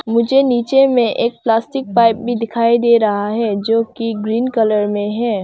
मुझे नीचे में एक प्लास्टिक पाईप भी दिखाई दे रहा है जो कि ग्रीन कलर में है।